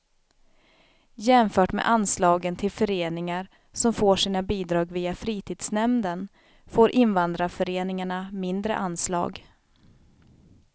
Jämfört med anslagen till föreningar som får sina bidrag via fritidsnämnden, får invandrarföreningarna mindre anslag.